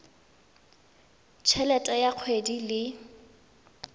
t helete ya kgwedi le